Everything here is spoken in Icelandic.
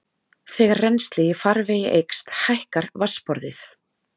Þegar rennsli í farvegi eykst hækkar vatnsborðið.